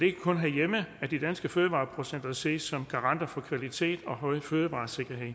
ikke kun herhjemme at de danske fødevareproducenter ses som garanter for kvalitet og høj fødevaresikkerhed